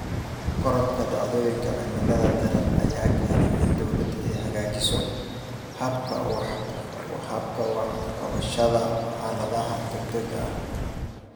Korodhka dhacdooyinka cimilada daran ayaa keenaya in dawladdu ay hagaajiso hababka wax ka qabashada xaaladaha degdegga ah.